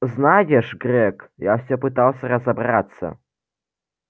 знаешь грег я всё пытался разобраться